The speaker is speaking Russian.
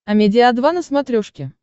амедиа два на смотрешке